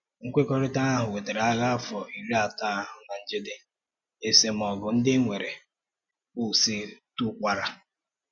Nkwekọrịtà ahụ wètarà Ághà Afọ́ Írì Átò ahụ ná njedè, esemọ̀gụ ndị e nwere kwụsịtùkwara.